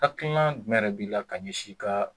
Haklina jumɛn yɛrɛ b' ila ka ɲɛ si i kaa.